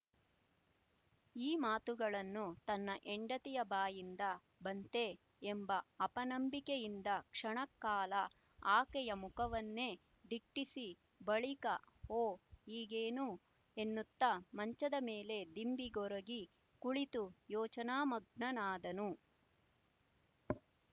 ಈ ಮಾತುಗಳನ್ನು ತನ್ನ ಹೆಂಡತಿಯ ಬಾಯಿಯಿಂದ ಬಂತೇ ಎಂಬ ಅಪನಂಬಿಕೆಯಿಂದ ಕ್ಷಣಕಾಲ ಆಕೆಯ ಮುಖವನ್ನೇ ದಿಟ್ಟಿಸಿ ಬಳಿಕ ಓ ಹೀಗೇನು ಎನ್ನುತ್ತಾ ಮಂಚದ ಮೇಲೆ ದಿಂಬಿಗೊರಗಿ ಕುಳಿತು ಯೋಚನಾ ಮಗ್ನನಾದನು